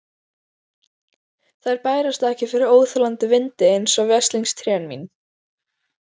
Þær bærast ekki fyrir óþolandi vindi, einsog veslings trén mín.